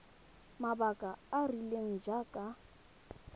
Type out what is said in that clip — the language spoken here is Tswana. mabaka a a rileng jaaka